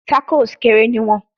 Tacos kere ni iwọn